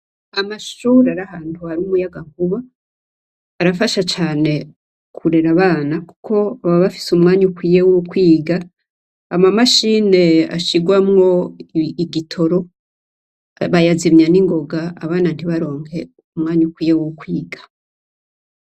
Amashuri ariahantuhari umuyaga kuba arafasha cane kurera abana, kuko baba bafise umwanya ukwiye wo ukwiga ama mashine ashirwamwo igitoro bayazimya n'ingoga abana ntibaronke umwanya ukwiye wo ukwiga.